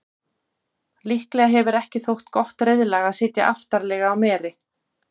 líklega hefur ekki þótt gott reiðlag að sitja aftarlega á meri